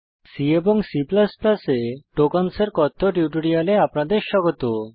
C এবং C এ tokens এর কথ্য টিউটোরিয়ালে আপনাদের স্বাগত